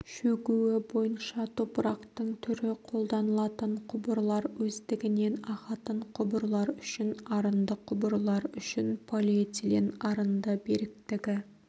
шөгуі бойынша топырақтың түрі қолданылатын құбырлар өздігінен ағатын құбырлар үшін арынды құбырлар үшін полиэтилен арынды беріктігі